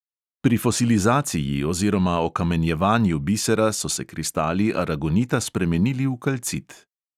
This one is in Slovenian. Pri fosilizaciji oziroma okamenjevanju bisera so se kristali aragonita spremenili v kalcit.